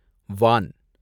வான்